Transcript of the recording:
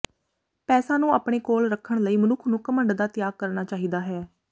ਪੈਸਾ ਨੂੰ ਆਪਣੇ ਕੋਲ ਰੱਖਣ ਲਈ ਮਨੁੱਖ ਨੂੰ ਘਮੰਡ ਦਾ ਤਿਆਗ ਕਰਣਾ ਚਾਹੀਦਾ ਹੈ